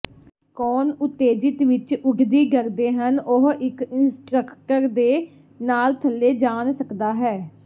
ਕੌਣ ਉਤੇਜਿਤ ਵਿੱਚ ਉੱਡਦੀ ਡਰਦੇ ਹਨ ਉਹ ਇੱਕ ਇੰਸਟ੍ਰਕਟਰ ਦੇ ਨਾਲ ਥੱਲੇ ਜਾਣ ਸਕਦਾ ਹੈ